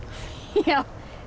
já